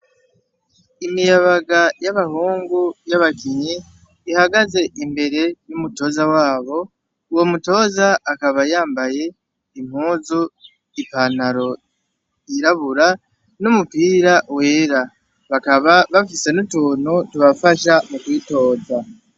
Imiyabaga y’abahungu y’abakinyi ihagaze imbere y’umutoza wabo, uwo mutoza akaba yambaye impuzu i pantaro y’irabura n’umupira wera bakaba bafise n’utuntu tubafasha kwitoza.